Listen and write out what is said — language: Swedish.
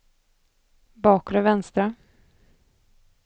bakre vänstra